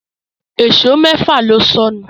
Èṣó méfà ló sọnù